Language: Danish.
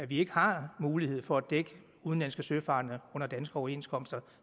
vi ikke har mulighed for at dække udenlandske søfarende under danske overenskomster